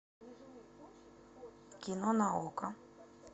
кино на окко